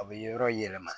A bɛ yɔrɔ yɛlɛma